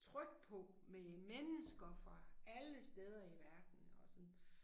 Tryk på med mennesker fra alle steder i verden og sådan